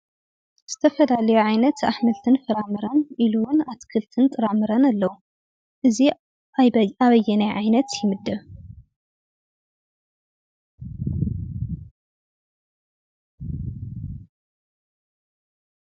ዝተፈላለዩ ዓይነት ኣሕምልትን ፍራምረን ኢሉ እውን ኣትክልቲን ፍራምረን ኣለው። እዚ ኣበ ኣበየናይ ዓይነት ይምደብ?